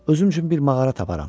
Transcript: Özüm üçün bir mağara taparam.